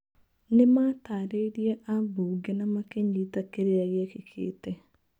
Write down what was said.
Nĩmatarĩirie ambunge na makĩnyita kĩrĩa gĩekĩkĩte.